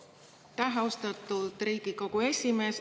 Aitäh, austatud Riigikogu esimees!